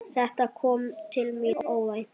Þetta kom til mín óvænt.